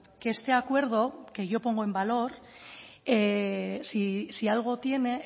que este acuerdo que yo pongo en valor si algo tiene